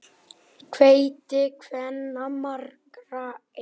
Heiti kvenna margra er.